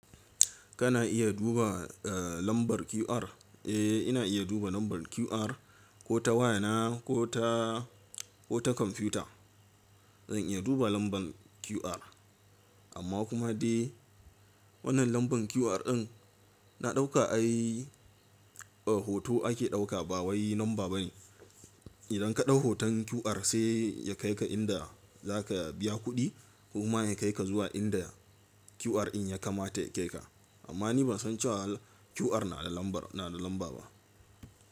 Kana iya duba lambar QR? Eh, ina iya duba lambar QR ko ta waya na ko ta komfiyuta. Zan iya duba lambar QR, amma kuma dai wannan lambar QR din na ɗauka ai hoto ake ɗauka ba wai lamba bane. Idan ka ɗau hoton QR sai ya kai ka inda za ka biya kuɗi kuma ya kai ka zuwa inda QR in ya kamata ya kai ka. Amma ni ban san cewa QR na da lamba ba.